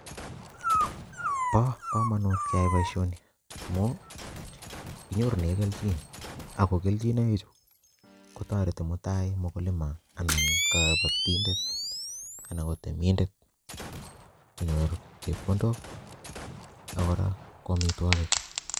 Bo komonut keyai boisoni, amuu kinyorune kelchin. Ago kelchinek ichu, kotoreti mutai mkulima anan kabatindet, anan ko temindet konyor chepkondok, akora ko amotwogik